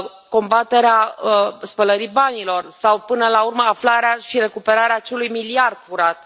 combaterea spălării banilor sau, până la urmă, aflarea și recuperarea acelui miliard furat.